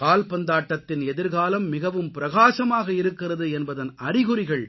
கால்பந்தாட்டத்தின் எதிர்காலம் மிகவும் பிரகாசமாக இருக்கிறது என்பதன் அறிகுறிகள்